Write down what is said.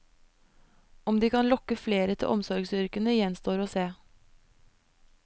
Om de kan lokke flere til omsorgsyrkene, gjenstår å se.